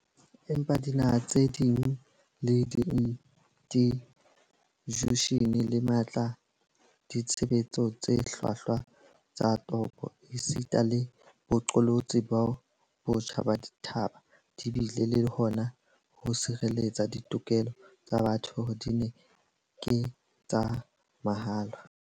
Empa dinaha tse di le dijushene tse matla, ditshebetso tse hlwahlwa tsa toka esita le boqolotsi botjha ba dithaba di bile le hona ho sireletsa ditokelo tsa batho hore di ke tsa mahala.